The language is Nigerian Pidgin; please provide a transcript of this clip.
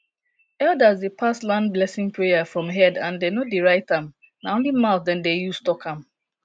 elders dey pass land blessing prayer from head and dem no dey write am na only mouth dem dey use talk am